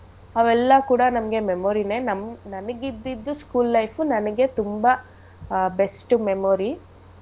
ಅವೆಲ್ಲ ಕೂಡ ನಮ್ಗೆ memory ನೇ ನಮಿಗ್~ ನನಿಗಿದ್ದಿದ್ದು school life ನನಗೆ ತುಂಬಾ ಆಹ್ best memory .